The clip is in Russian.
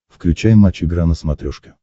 включай матч игра на смотрешке